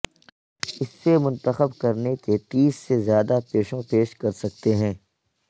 اس سے منتخب کرنے کے تیس سے زیادہ پیشوں پیش کر سکتے ہیں